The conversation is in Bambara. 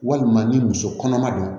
Walima ni muso kɔnɔma don